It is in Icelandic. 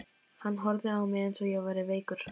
Hann horfði á mig eins og ég væri veikur.